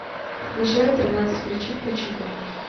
включай тринадцать причин почему